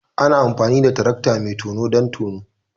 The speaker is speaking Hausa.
Ana amfani da tarakta mai tono don tono